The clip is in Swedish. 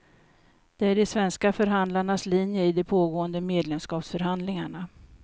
Det är de svenska förhandlarnas linje i de pågående medlemskapsförhandlingarna.